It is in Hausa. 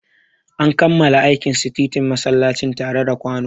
An kammala aikin sitintin masallacin tare da kwano.